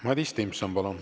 Madis Timpson, palun!